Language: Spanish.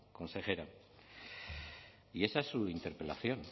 consejera y esa es su interpelación